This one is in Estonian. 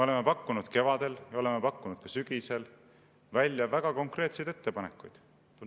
Me pakkusime kevadel, me pakkusime ka sügisel välja väga konkreetseid ettepanekuid.